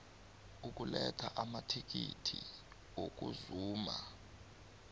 ukuletha amakhiti wokuzuma